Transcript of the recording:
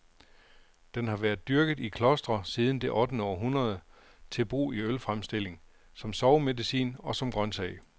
Den har været dyrket i klostre siden det ottende århundrede, til brug i ølfremstilling, som sovemedicin og som grøntsag.